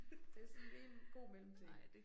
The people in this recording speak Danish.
Det sådan lige en god mellemting